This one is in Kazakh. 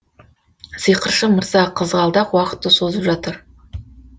сиқыршы мырза қызғалдақ уақытты созып жатыр